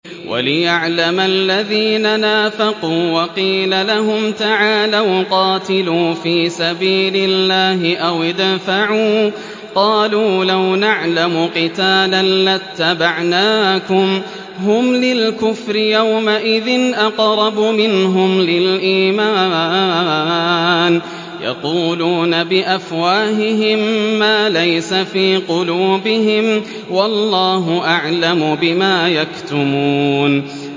وَلِيَعْلَمَ الَّذِينَ نَافَقُوا ۚ وَقِيلَ لَهُمْ تَعَالَوْا قَاتِلُوا فِي سَبِيلِ اللَّهِ أَوِ ادْفَعُوا ۖ قَالُوا لَوْ نَعْلَمُ قِتَالًا لَّاتَّبَعْنَاكُمْ ۗ هُمْ لِلْكُفْرِ يَوْمَئِذٍ أَقْرَبُ مِنْهُمْ لِلْإِيمَانِ ۚ يَقُولُونَ بِأَفْوَاهِهِم مَّا لَيْسَ فِي قُلُوبِهِمْ ۗ وَاللَّهُ أَعْلَمُ بِمَا يَكْتُمُونَ